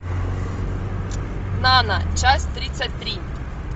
нана часть тридцать три